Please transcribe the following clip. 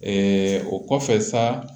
o kɔfɛ sa